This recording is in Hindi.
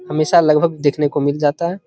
हमेशा लगभग देखने को मिल जाता है।